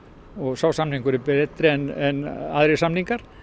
sá samningur er betri en aðrir samningar